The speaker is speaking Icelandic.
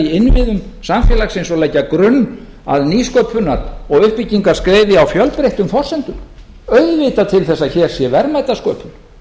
innviðum samfélagsins og leggja grunn að nýsköpunar og uppbyggingarskrefi á fjölbreyttum forsendum auðvitað til þess að hér sé verðmætasköpun